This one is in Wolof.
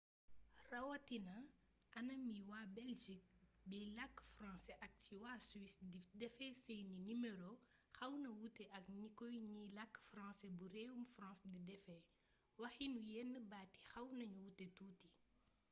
rawatina anam wi waa belgique biy làkk francais ak ci waa suisse di defee seeni nimero xawna wuute ak ni ko ñiy làkk francais bu réewum france di defee waxiinu yenn baat yi xaw nañu wuute tuuti